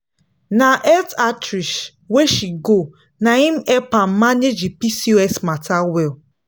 na health outreach wey she go na him help her manage that pcos matter well.